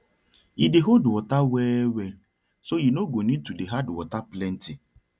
e dey hold water well well so you no go need to dey add water plenty